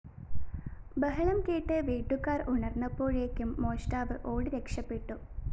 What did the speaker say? ബഹളംകേട്ട് വീട്ടുകാര്‍ ഉണര്‍ന്നപ്പോഴേക്കും മോഷ്ടാവ് ഓടിരക്ഷപ്പെട്ടു